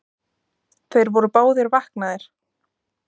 Þeir voru báðir vaknaðir.